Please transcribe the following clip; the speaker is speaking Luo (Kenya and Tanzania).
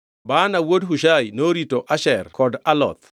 Baana wuod Hushai norito Asher kod Aloth.